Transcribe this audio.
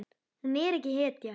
Hún er ekki hetja.